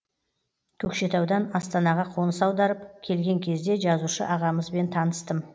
көкшетаудан астанаға қоныс аударып келген кезде жазушы ағамызбен таныстым